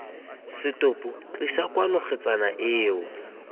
setopo tlisa kwano kgetsana eo